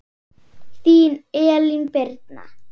Þín Elín Birna.